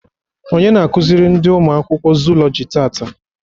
Onye na akụziri ndị ụmụ akwụkwọ Zụụlọjị taata?